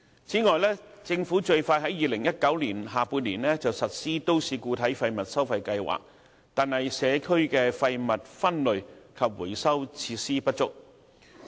此外，政府最快於2019年下半年實施都市固體廢物收費計劃，但社區的廢物分類及回收設施不足。